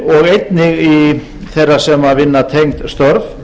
og einnig þeirra sem vinna tengd störf